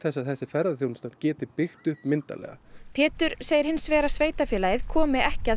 að þessi ferðaþjónusta geti byggt upp myndarlega Pétur segir hins vegar að sveitarfélagið komi ekki að